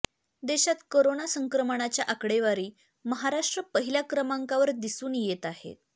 देशात करोना संक्रमणाच्या आकडेवारी महाराष्ट्र पहिल्या क्रमांकावर दिसून येत आहेत